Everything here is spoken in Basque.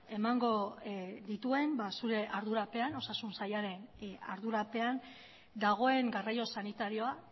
emango dituen zure ardurapean osasun sailaren ardurapean dagoen garraio sanitarioa